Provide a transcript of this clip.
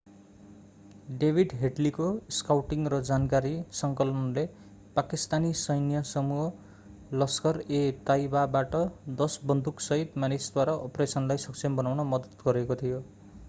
David हेडलीको scouting र जानकारी सङ्कलनले पाकिस्तानी सैन्य समूह लस्खर-ए-ताइबाबाट 10 बन्दुकसहितका मानिसद्वारा अपरेसनलाई सक्षम बनाउन मद्दत गरेको थियो